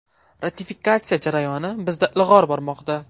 Ratifikatsiya jarayoni bizda ilg‘or bormoqda.